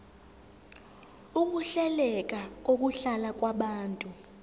ukuhleleka kokuhlala kwabantu